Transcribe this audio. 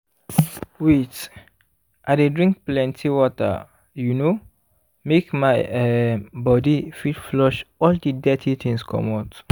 wait i dey drink plenty water you know make my um body fit flush all the dirty things comot